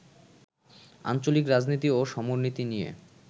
আঞ্চলিক রাজনীতি ও সমরনীতি নিয়ে